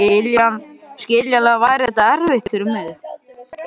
Skiljanlega væri þetta erfitt fyrir mig.